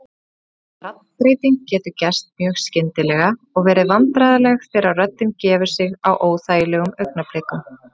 Raddbreytingin getur gerst mjög skyndilega og verið vandræðaleg þegar röddin gefur sig á óþægilegum augnablikum.